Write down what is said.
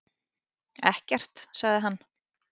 Ekkert, sagði hann.